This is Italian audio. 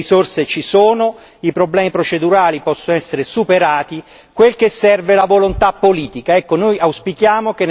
Io non lo penso, le risorse ci sono, i problemi procedurali possono essere superati, quel che serve è la volontà politica.